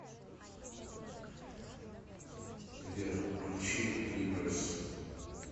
сбер включи ли брайс